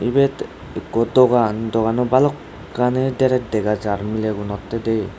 ebate eko dogan doganot balokani darash dagajar miley gunotay.